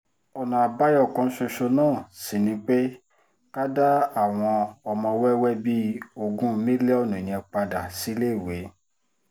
ọ̀nà àbáyọ kan ṣoṣo náà sì ni pé ká dá àwọn ọmọ wẹ́wẹ́ bíi ogún mílíọ̀nù yẹn padà síléèwé